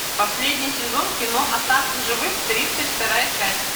последний сезон кино остаться в живых тридцать вторая часть